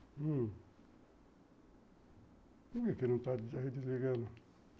Por que não está desligando?